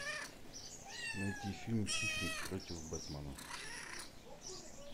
найти фильм хищник против бэтмена